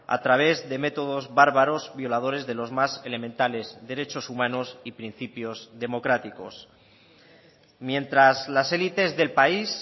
a través de métodos bárbaros violadores de los más elementales derechos humanos y principios democráticos mientras las élites del país